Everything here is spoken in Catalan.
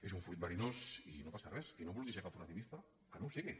és un fruit verinós i no passa res qui no vulgui ser cooperativista que no ho sigui